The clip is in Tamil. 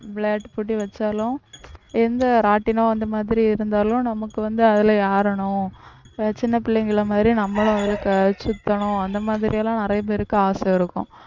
விளையாட்டு போட்டி வச்சாலும் எந்த ராட்டினம் அந்த மாதிரி இருந்தாலும் நமக்கு வந்து அதுல ஏறணும் சின்ன புள்ளைங்களை மாதிரி நம்மளும் ஒரு சுத்தணும் அந்த மாதிரி எல்லாம் நிறைய பேருக்கு ஆசை இருக்கும்